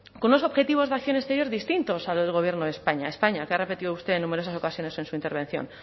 con unos objetivos de acción exterior distintos al gobierno de españa españa que ha repetido usted en numerosas ocasiones en su intervención